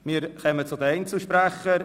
Wir kommen zu den Einzelsprechern.